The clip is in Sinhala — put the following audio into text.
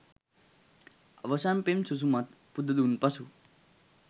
අවසන් පෙම් සුසුමත් පුද දුන් පසු